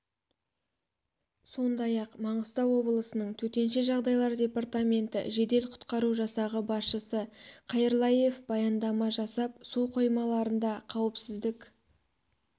сондай ақ маңғыстау облысының төтенше жағдайлар департаменті жедел-құтқару жасағы басшысы қайырлаев баяндама жасап су қоймаларында қауіпсіздік